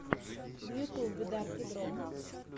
в ютьюбе дарки дро